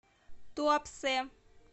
туапсе